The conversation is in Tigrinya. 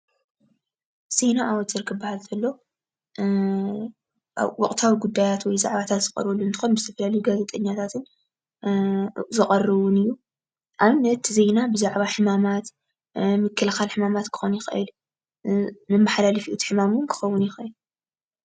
ዜና ኣውታር ክበሃል ከሎ ወቕታዊ ጉዳያት ወይ ዛዕባታት ዝቐርብሉ እንትኾን ብዝተፈላለዩ ጋዜጠኛታት ዝቐርብን እዩ፡፡ ኣብነት እቲ ዜና ብዛዕባ ምክልኻል ሕማማት ፣ መማሓላለፊ እቲ ሕማም እውን ክኸውን ይኽእል፡፡